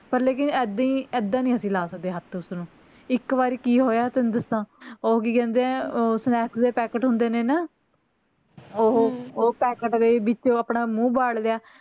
ਪਰ ਲੇਕਿਨ ਏਦੀ ਐਦਾਂ ਨੀ ਲਾ ਸਕਦੇ ਅਸੀਂ ਹੱਥ ਉਸ ਨੂੰ ਇੱਕ ਵਾਰ ਕੀ ਹੋਇਆ ਤੈਂਨੂੰ ਦਸਾਂ ਓਹ ਕੀ ਕਹਿੰਦੇ ਆ ਓਹ snacks ਦੇ packet ਹੁੰਦੇ ਨੇ ਨਾ ਓਹੋ ਓਹ packet ਦੇ ਵਿੱਚ ਆਪਣਾ ਮੂੰਹ ਵਾੜ ਲਿਆ